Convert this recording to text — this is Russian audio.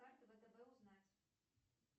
карта втб узнать